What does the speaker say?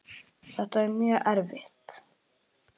Þetta er mjög erfitt.